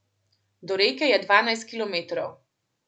Do reke je dvanajst kilometrov.